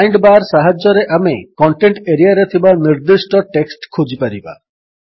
find bar ସାହାଯ୍ୟରେ ଆମେ content ଏରିଆରେ ଥିବା ନିର୍ଦ୍ଦିଷ୍ଟ ଟେକ୍ସଟ୍ ଖୋଜିପାରିବା